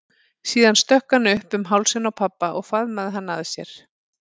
Síðan stökk hann upp um hálsinn á pabba og faðmaði hann að sér.